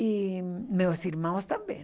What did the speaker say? E meus irmãos também.